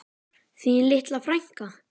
Þín litla frænka.